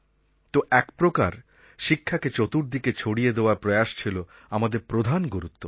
তো একপ্রকার শিক্ষাকে চতুর্দিকে ছড়িয়ে দেওয়ার প্রয়াস ছিল আমাদের প্রধান গুরুত্ব